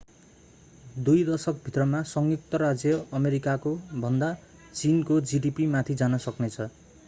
दुई दशक भित्रमा संयुक्त राज्य अमेरिकाको भन्दा चीनको जीडीपी माथि जान सक्ने छ